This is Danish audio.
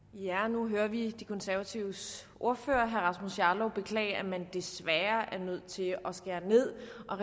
nu hører vi de konservatives ordfører herre rasmus jarlov beklage at man desværre er nødt til at skære ned og